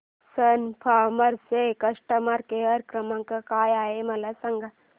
सन Pharma चा customer care क्रमांक काय आहे मला सांगा